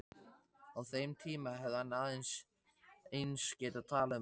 Á þeim tíma hefði hann eins getað talað um öld.